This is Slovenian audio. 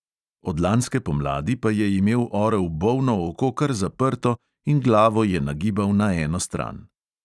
Od lanske pomladi pa je imel orel bolno oko kar zaprto in glavo je nagibal na eno stran.